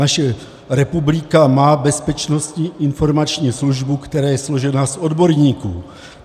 Naše republika má Bezpečnostní informační službu, která je složená z odborníků.